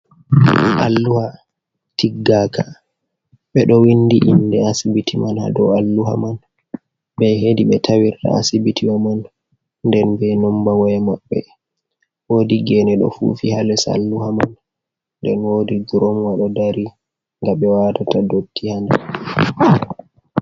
Alluha tiggaka ɓeɗo windi inde asibiti man hado alluha man be hedi be tawirta asibitiwa man, nden ɓe nomba woya mabbe wodi gene ɗo fufi ha les alluha man, nden wodi gromwa ɗo dari ngabe watata dotti ha nder.